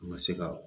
U bɛ se ka